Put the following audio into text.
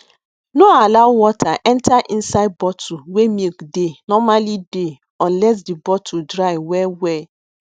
no allow water enter inside bottle wey milk dey normally dey unless the bottle dry well well